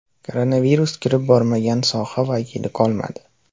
Koronavirus kirib bormagan soha vakili qolmadi.